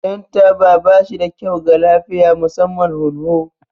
Shan taba ba shi da kyau ga lafiya, musamman hunhu.